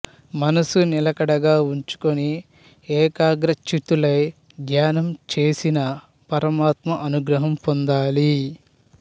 మనసు నిలకడగా ఉంచుకుని ఏకాగ్రచిత్తులై ధ్యానం చేసిన పరమాత్మ అనుగ్రహం పొందాలి